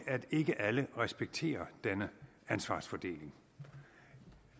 at ikke alle respekterer denne ansvarsfordeling